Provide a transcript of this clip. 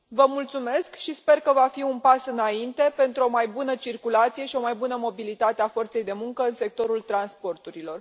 Vă mulțumesc și sper că va fi un pas înainte pentru o mai bună circulație și o mai bună mobilitate a forței de muncă în sectorul transporturilor.